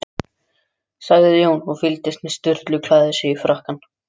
sagði Jón, og fylgdist með Sturlu klæða sig í frakkann.